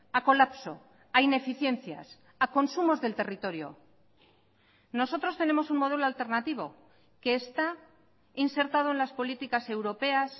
a colapso a ineficiencias a consumos del territorio nosotros tenemos un modelo alternativo que está insertado en las políticas europeas